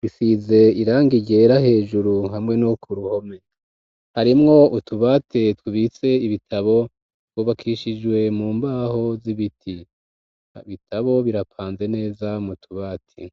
bifise irangi ryera hejuru hamwe no ku ruhome harimwo utubati tubitse ibitabo twubakishijwe mu mbaho z'ibiti, ibitabo birapanze neza mu tubati.